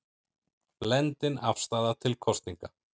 Blendin afstaða til kosninga